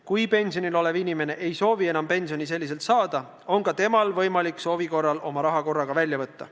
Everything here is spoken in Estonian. Kui pensionil olev inimene ei soovi enam pensionit sellisel viisil saada, on ka temal võimalik soovi korral oma raha korraga välja võtta.